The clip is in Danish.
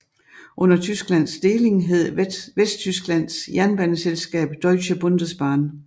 Under Tysklands deling hed Vesttysklands jernbaneselskab Deutsche Bundesbahn